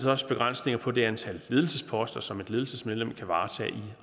også begrænsninger på det antal ledelsesposter som et ledelsesmedlem kan varetage i